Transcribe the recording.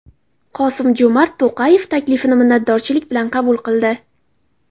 Qosim-Jo‘mart To‘qayev taklifni minnatdorlik bilan qabul qildi.